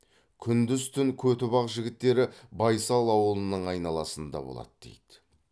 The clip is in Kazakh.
күндіз түн көтібақ жігіттері байсал ауылының айналасында болады дейді